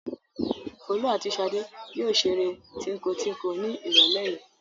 Folú àti Ṣadé yóò ṣeré tíńko-tíńko ní ìrọ́lẹ́ yìí.